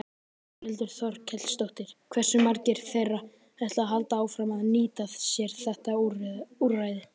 Þórhildur Þorkelsdóttir: Hversu margir þeirra ætla að halda áfram að nýta sér þetta úrræði?